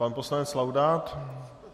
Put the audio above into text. Pan poslanec Laudát?